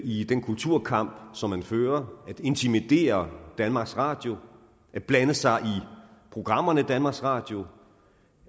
i den kulturkamp som man fører at intimidere danmarks radio at blande sig i programmerne i danmarks radio